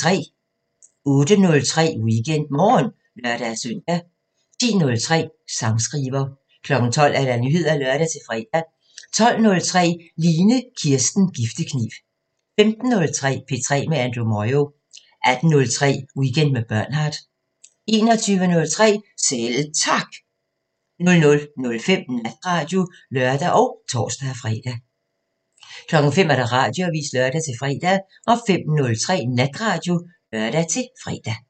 08:03: WeekendMorgen (lør-søn) 10:03: Sangskriver 12:00: Nyheder (lør-fre) 12:03: Line Kirsten Giftekniv 15:03: P3 med Andrew Moyo 18:03: Weekend med Bernhard 21:03: Selv Tak 00:05: Natradio (lør og tor-fre) 05:00: Radioavisen (lør-fre) 05:03: Natradio (lør-fre)